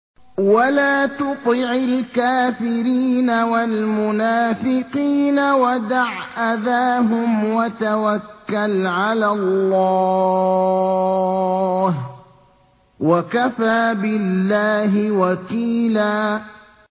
وَلَا تُطِعِ الْكَافِرِينَ وَالْمُنَافِقِينَ وَدَعْ أَذَاهُمْ وَتَوَكَّلْ عَلَى اللَّهِ ۚ وَكَفَىٰ بِاللَّهِ وَكِيلًا